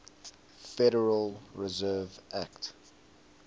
federal reserve act